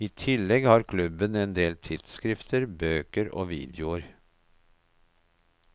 I tillegg har klubben endel tidsskrifter, bøker og videoer.